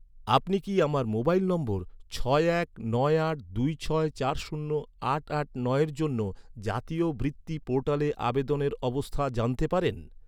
আপনি কি, আমার মোবাইল নম্বর ছয় এক নয় আট দুই ছয় চার শূন্য আট আট নয়ের জন্য, জাতীয় বৃত্তি পোর্টালে আবেদনের অবস্থা জানতে পারেন?